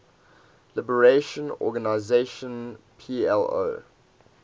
liberation organization plo